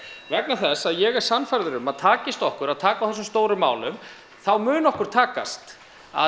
vegna þess að ég er sannfærður um að takist okkur að taka á þessum stóru málum þá mun okkur takast að